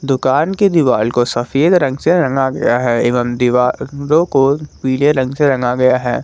दुकान के दीवाल को सफेद रंग से रंगा गया है एवं दीवालो को पीले रंग से रंगा गया है।